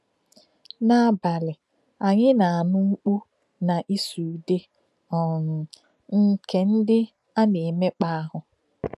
N’abalị, anyị na-anụ mkpù na ìsụ̀ údè um nke ndị a na-emekpà ahụ́.